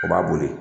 O b'a boli